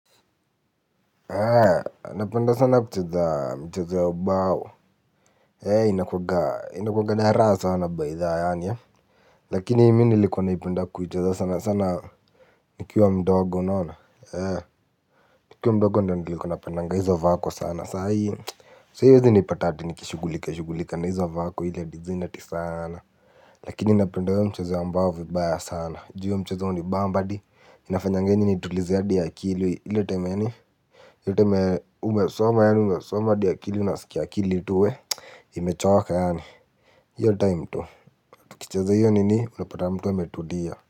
Napenda sana kucheza micheza ya ubao. Inakuwanga na raha sana baitha yaani lakini mi nilikuwa naipenda kucheza sana sana nikiwa mdogo unaona. Nikiwa mdogo ndo ni nilikuwa napendanga hizo vako sana saa hii So huezi nipata ati nikishugulika shugulika na hizo vako ile design ati sana. Lakini napenda hiyo mchezo ya mbao vibaya sana juu hiyo mchezo hunibamba hadi inafanyanga mimi nitulize hadi akili ile time yani umesoma yani umesoma hadi akili unasikia akili tu wueh. Nmechoka yani hiyo time tukicheza hiyo nini unapata mtu ametulia.